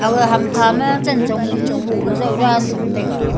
aga hamkha ma cantong nu boh ley jaw dan tham taiga.